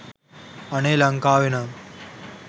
අනේ ලංකාවෙනම්